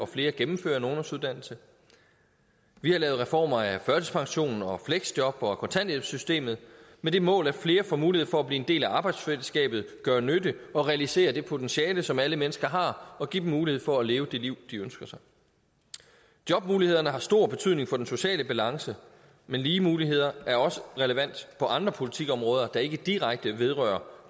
flere gennemfører en ungdomsuddannelse vi har lavet reformer af førtidspensionen og fleksjob og kontanthjælpssystemet med det mål at flere får mulighed for at blive en del af arbejdsfællesskabet gøre nytte og realisere det potentiale som alle mennesker har og give dem mulighed for at leve det liv de ønsker sig jobmulighederne har stor betydning for den sociale balance men lige muligheder er også relevant på andre politikområder der ikke direkte vedrører